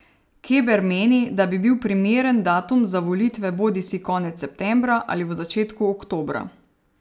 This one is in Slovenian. Keber meni, da bi bil primeren datum za volitve bodisi konec septembra ali v začetku oktobra.